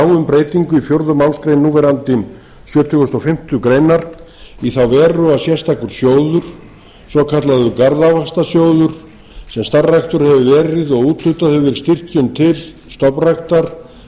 breytingu í fjórðu málsgrein núverandi sjötugasta og fimmtu grein í þá veru að sérstakur sjóður svokallaður garðávaxtasjóður sem starfræktur hefur verið og úthlutað hefur verið styrkjum til stofnræktar